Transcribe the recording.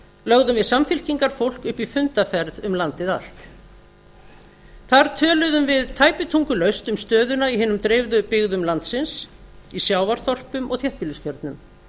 lögðum við samfylkingarfólk upp í fundarferð um landið allt þar töluðum við tæpitungulaust um stöðuna í hinum dreifðu byggðum landsins í sjávarþorpum og þéttbýliskjörnum